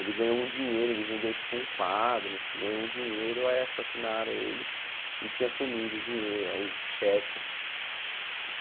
Ele ganhou um dinheiro, ele vendeu tipo um quadro, ganhou um dinheiro, aí assassinaram ele e tinha sumido o dinheiro, o cheque.